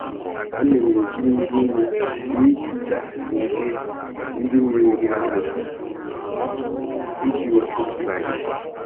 Ana m eji mmiri nnu na-ehicha ndị ndị na-eri anụ iji wepụ slime.